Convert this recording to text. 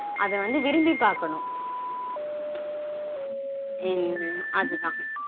அத வந்து விரும்பி பாக்கணும் உம் அது தான்